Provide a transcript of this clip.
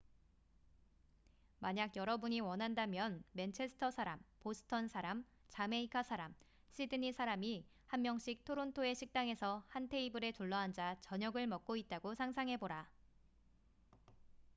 만약 여러분이 원한다면 맨체스터 사람 보스턴 사람 자메이카 사람 시드니 사람이 한 명씩 토론토의 식당에서 한 테이블에 둘러앉아 저녁을 먹고 있다고 상상해 보라